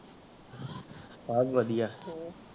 ਸਬ ਵਾਦੀਆਂ ਹਮ